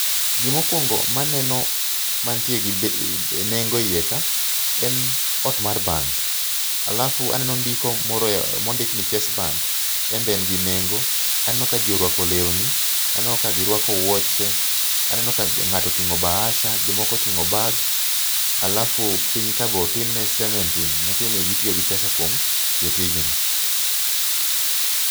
Gimokuongo maneno mantie gi nengo e iye ka en ot mar bank alafu aneno ndiko moro mondik ni chase bank en be en gi nengo aneno ka jii orwako lewni , aneno ka girwako wuoche aneno ka ng'ato oting'o bahasa jomoko oting'o bag alafu piny ka be otim ne cementing matiende ni ne gitiyo gi pesa kuom tiyo tijno.